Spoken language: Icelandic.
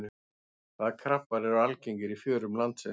Hvaða krabbar eru algengir í fjörum landsins?